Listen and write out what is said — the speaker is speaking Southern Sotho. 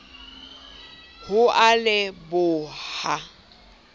ho a le b ha